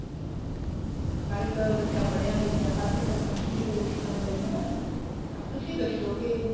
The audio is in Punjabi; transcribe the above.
ਹਰ ਇੱਕ ਬੱਚਾ ਪੜਿਆ ਲਿੱਖਿਆ ਹਰ ਇੱਕ ਸਰਪੰਚ ਵੀ ਫ਼ੇਰ ਉਸ ਤਰ੍ਹਾਂ ਦਾ ਹੀ ਹਨਾ ਤਾਂ ਤੁਸੀਂ ਦੱਸੋ ਕੇ